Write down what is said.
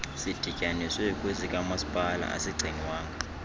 sidityaniswe kwesikamasipala asigcinwanga